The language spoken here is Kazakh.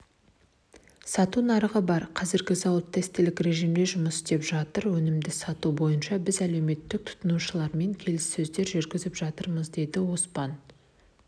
сату нарығы бар қазір зауыт тестілік режимде жұмыс істеп жатыр өнімді сату бойынша біз әлеуетті тұтынушылармен келіссөздер жүргізіп жатырмыз деді оспан